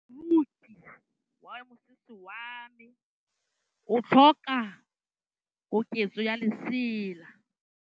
Moroki wa mosese wa me o tlhoka koketsô ya lesela.